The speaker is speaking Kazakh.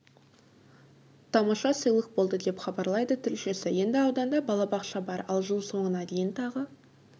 тамаша сыйлық болды деп хабарлайды тілшісі енді ауданда балабақша бар ал жыл соңына дейін тағы